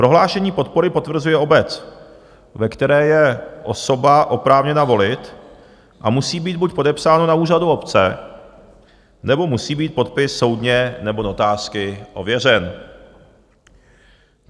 Prohlášení podpory potvrzuje obec, ve které je osoba oprávněna volit, a musí být buď podepsáno na úřadu obce, nebo musí být podpis soudně nebo notářsky ověřen.